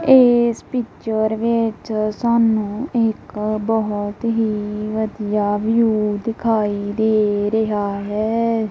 ਇਸ ਪਿੱਚਰ ਵਿੱਚ ਸਾਨੂੰ ਇੱਕ ਬਹੁਤ ਹੀ ਵਧੀਆ ਵਿਊ ਦਿਖਾਈ ਦੇ ਰਿਹਾ ਹੈ।